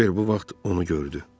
Kiver bu vaxt onu gördü.